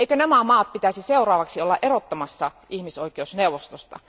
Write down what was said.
Eivätkö nämä maat pitäisi seuraavaksi erottaa ihmisoikeusneuvostosta?